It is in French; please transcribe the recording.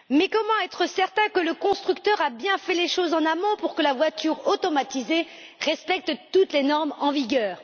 Comment être certain que le constructeur a bien fait les choses en amont pour que la voiture automatisée respecte toutes les normes en vigueur?